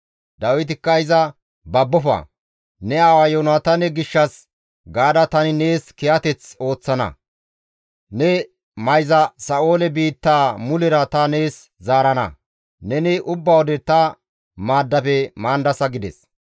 Dawitikka iza, «Babbofa; ne aawa Yoonataane gishshas gaada tani nees kiyateth ooththana; ne mayza Sa7oole biittaa mulera ta nees zaarana; neni ubba wode ta maaddafe maandasa» gides.